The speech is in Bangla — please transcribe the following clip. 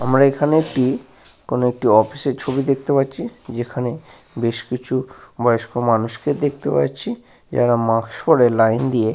আমরা এইখানে একটি কোন একটি অফিসের ছবি দেখতে পাচ্ছি। যেখানে বেশ কিছু বয়স্ক মানুষকে দেখতে পাচ্ছি। যারা মাস্ক পরে লাইন দিয়ে।